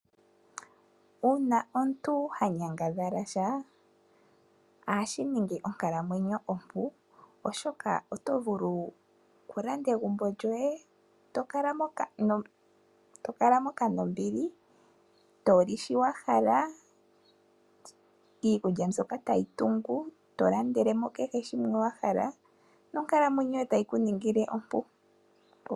Uuna omuntu ha nyangadhala sha ohashi ningi onkalamwenyo ompu, oshoka oto vulu okulanda egumbo lyoye to kala moka nombili, toli sho wa hala iikulya mbyoka tayi tungu, to landele mo kehe shimwe wa hala. Nonkalamwenyo yoye tayi ku ningile ompu.